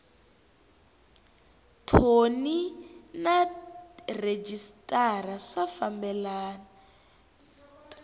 thoni na rhejisitara swi fambelena